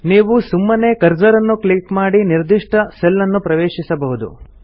ನೀವು ಸುಮ್ಮನೆ ಕರ್ಸರ್ ಅನ್ನು ಕ್ಲಿಕ್ ಮಾಡಿ ನಿರ್ದಿಷ್ಟ ಸೆಲ್ ಅನ್ನು ಪ್ರವೇಶಿಸಬಹುದು